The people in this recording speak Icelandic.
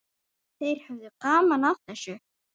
Þeir höfðu gaman af þessu.